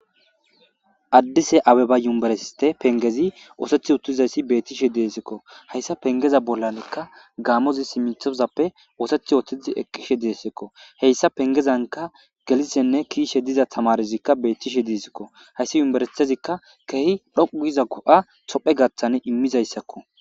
Adis abeba yubiriste pengezi oseti uttidaysi bettishe desko haysa pengeza bollanko gamozi pengezan uttidi hesa pengezanka gelishene ke'ishe tamarezi bettishe desko haysi yubiristezi dhoqu giza go'a tophiyasi imishe desko